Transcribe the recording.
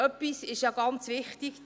Etwas ist ganz wichtig: